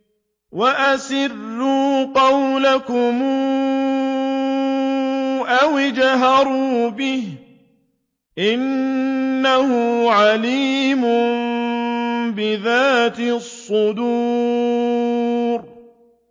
وَأَسِرُّوا قَوْلَكُمْ أَوِ اجْهَرُوا بِهِ ۖ إِنَّهُ عَلِيمٌ بِذَاتِ الصُّدُورِ